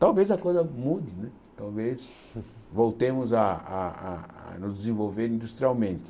Talvez a coisa mude né, talvez voltemos a a a nos desenvolver industrialmente.